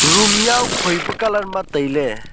room jao khoi pe colour ma taile.